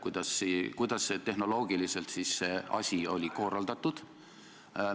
Kuidas see asi siis tehnoloogiliselt oli korraldatud?